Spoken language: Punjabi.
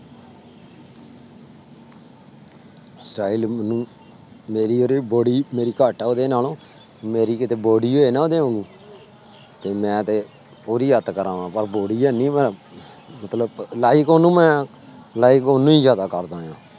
Style ਮੈਨੂੰ ਮੇਰੀ ਉਹਦੀ body ਮੇਰੀ ਘੱਟ ਹੈ ਉਹਦੇ ਨਾਲੋਂ ਮੇਰੀ ਕਿਤੇ body ਹੋਏ ਨਾ ਉਹਦੇ ਵਾਂਗੂ ਤੇ ਮੈਂ ਤੇ ਪੂਰੀ ਅੱਤ ਕਰਾਵਾਂ ਪਰ body ਹੈਨੀ ਮੈਂ ਮਤਲਬ like ਉਹਨੂੰ ਮੈਂ like ਉਹਨੂੰ ਹੀ ਜ਼ਿਆਦਾ ਕਰਦਾ ਆਂ।